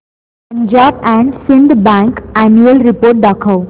Punjab and Sind bank annual report दाखव